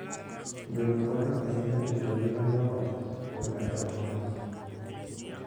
Gweno konyo ahinya e rito ngima joot koda e ohala.